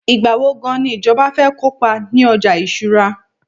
igbawo gan ni ìjọba fẹ kópa ni ọjà ìṣura